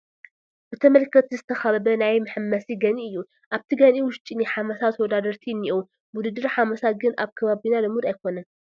ብተመልከትቲ ዝተኸበበ ናይ መሐመሲ ገንኢ እዩ፡፡ ኣብቲ ገንኢ ውሽጢ ናይ ሓመሳ ተወዳደርቲ እኔእዉ፡፡ ውድድር ሓመሳ ግን ኣብ ከባቢና ልሙድ ኣይኮነን፡፡